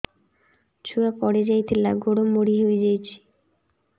ଛୁଆ ପଡିଯାଇଥିଲା ଗୋଡ ମୋଡ଼ି ହୋଇଯାଇଛି